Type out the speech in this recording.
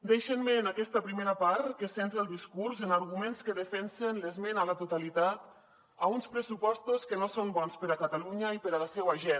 deixin me en aquesta primera part que centri el discurs en arguments que defensen l’esmena a la totalitat a uns pressupostos que no són bons per a catalunya i per a la seua gent